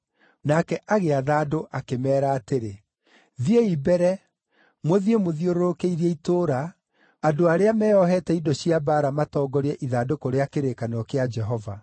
Nake agĩatha andũ akĩmeera atĩrĩ, “Thiĩi mbere! Mũthiĩ mũthiũrũrũkĩirie itũũra, andũ arĩa meeohete indo cia mbaara matongorie ithandũkũ rĩa kĩrĩkanĩro kĩa Jehova.”